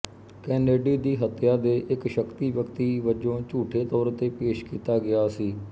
Kennedy ਦੀ ਹੱਤਿਆ ਦੇ ਇਕ ਸ਼ੱਕੀ ਵਿਅਕਤੀ ਵਜੋਂ ਝੂਠੇ ਤੌਰ ਤੇ ਪੇਸ਼ ਕੀਤਾ ਗਿਆ ਸੀ